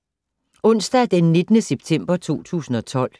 Onsdag d. 19. september 2012